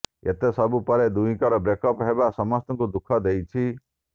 ଏତେ ସବୁ ପରେ ଦୁହିଁଙ୍କର ବ୍ରେକଅପ୍ ହେବା ସମସ୍ତଙ୍କୁ ଦୁଃଖ ଦେଇଛି